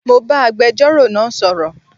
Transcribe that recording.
Mo bá agbẹjọ́rò náà sọ̀rọ̀